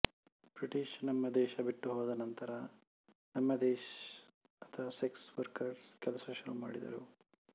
British ನಮ್ಮ ದೇಶ ಬೆಟ್ಟಿಹೋದನಂತರ ನಮ್ಮ ದೆಶದ್ಸ ಸೆಕ್ಸ್ ವರ್ಕರ್ಸ್ ಕೆಲಸ ಶುರುಮಾಡಿದರು